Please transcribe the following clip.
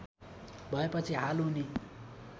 भएपछि हाल उनी